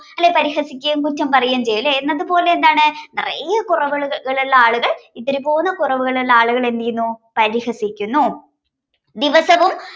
അയാളെ പരിഹസിക്കേം കുറ്റം പറയേം ചെയ്യും ലെ എന്നതുപോലെ എന്താണ് നറേ കുറവുകളുള്ള ആളുകൾ ഇത്തിരിപ്പോന്ന കുറവുകളുള്ള ആളുകളെ എന്ത് ചെയ്യുന്നു പരിഹസിക്കുന്നു ദിവസവും